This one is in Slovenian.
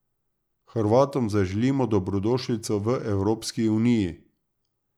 Hrvatom zaželimo dobrodošlico v Evropski uniji.